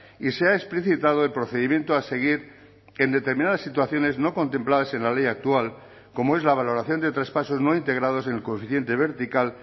y se ha explicitado el procedimiento a seguir en determinadas situaciones no contempladas en la ley actual como es la valoración de traspasos no integrados en el coeficiente vertical